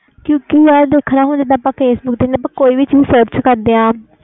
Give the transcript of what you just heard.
ਕਿਉਕਿ ਦੇਖਣਾ ਆਪਾ ਕੋਈ ਵੀ ਚੀਜ਼ search ਕਰਦੇ ਆ